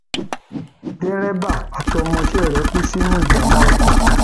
dèrèbà àtọmọọṣe rẹ kú sínú ìjàmbá ọkọ